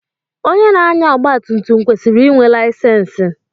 Onye na-anya ọgba tum tum kwesịrị inwe layisensi.